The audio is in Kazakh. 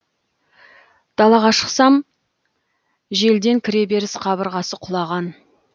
далаға шықсам желден кіреберіс қабырғасы құлаған